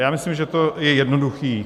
Já myslím, že to je jednoduché.